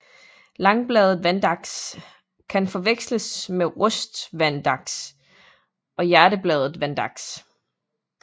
Langbladet vandaks kan forveksles med rustvandaks og hjertebladet vandaks